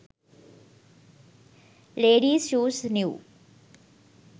ladies shoes new